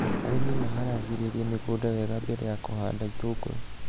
Arĩmi maharagĩrĩria mĩgũnda wega mbere ya kũhanda itũngũrũ